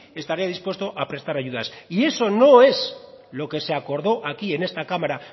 estaría dispuesto a prestar ayudas eso no es lo que se acordó aquí en esta cámara